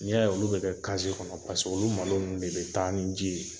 Ni y'a ye olu be kɛ kɔnɔ, paseke olu malo nunnu de be taa ni ji ye.